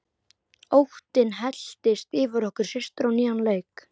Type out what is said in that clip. Óttinn helltist yfir okkur systur á nýjan leik.